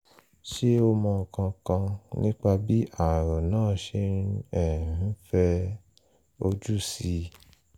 ṣé o mọ nǹkan kan nípa bí ààrùn náà ṣe um ń fẹ ojú síi?